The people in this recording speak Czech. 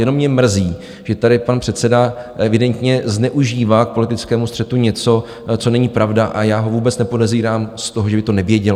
Jenom mě mrzí, že tady pan předseda evidentně zneužívá k politickému střetu něco, co není pravda, a já ho vůbec nepodezírám z toho, že by to nevěděl.